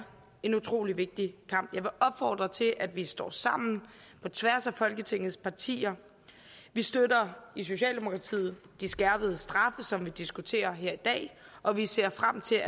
en utrolig vigtig kamp jeg vil opfordre til at vi står sammen på tværs af folketingets partier vi støtter i socialdemokratiet de skærpede straffe som vi diskuterer her i dag og vi ser frem til